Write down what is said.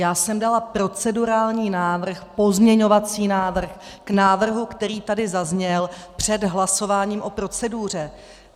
Já jsem dala procedurální návrh, pozměňovací návrh k návrhu, který tady zazněl, před hlasováním o proceduře.